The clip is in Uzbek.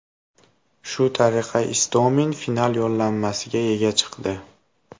Shu tariqa Istomin final yo‘llanmasiga ega chiqdi.